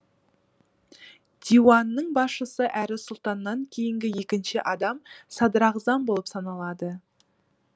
диуанның басшысы әрі сұлтаннан кейінгі екінші адам садрағзам болып саналады